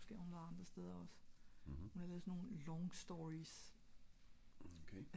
måske hun var andre steder ogs hun har lavet sådan nogle long stories